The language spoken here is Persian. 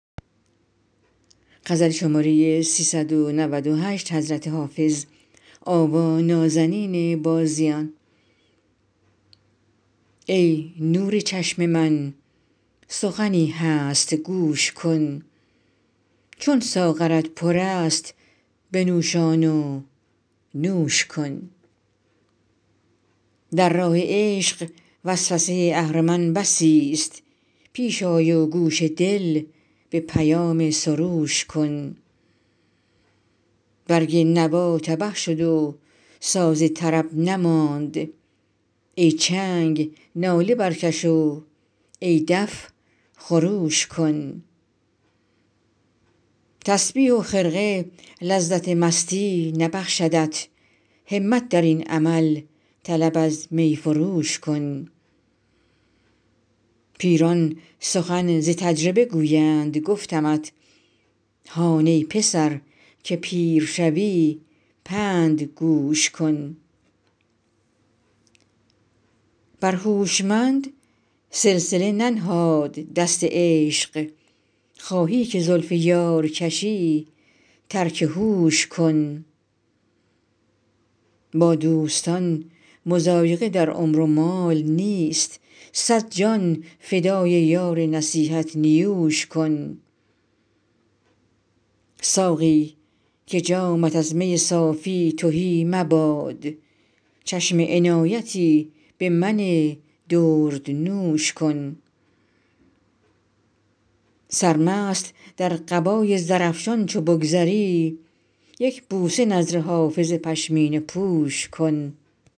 ای نور چشم من سخنی هست گوش کن چون ساغرت پر است بنوشان و نوش کن در راه عشق وسوسه اهرمن بسیست پیش آی و گوش دل به پیام سروش کن برگ نوا تبه شد و ساز طرب نماند ای چنگ ناله برکش و ای دف خروش کن تسبیح و خرقه لذت مستی نبخشدت همت در این عمل طلب از می فروش کن پیران سخن ز تجربه گویند گفتمت هان ای پسر که پیر شوی پند گوش کن بر هوشمند سلسله ننهاد دست عشق خواهی که زلف یار کشی ترک هوش کن با دوستان مضایقه در عمر و مال نیست صد جان فدای یار نصیحت نیوش کن ساقی که جامت از می صافی تهی مباد چشم عنایتی به من دردنوش کن سرمست در قبای زرافشان چو بگذری یک بوسه نذر حافظ پشمینه پوش کن